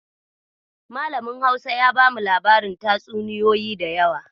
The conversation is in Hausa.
Malamin Hausa ya bamu labarin tatsuniyoyi da yawa.